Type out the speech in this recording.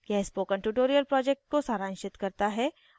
यह spoken tutorial project को सारांशित करता है